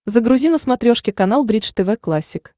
загрузи на смотрешке канал бридж тв классик